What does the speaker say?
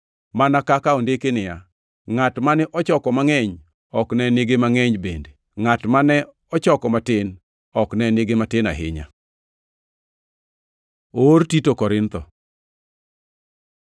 mana kaka ondiki niya, “Ngʼat mane ochoko mangʼeny ok ne nigi mangʼeny bende ngʼat mane ochoko matin, ok ne nigi matin ahinya.” + 8:15 \+xt Wuo 16:18\+xt* Oor Tito Korintho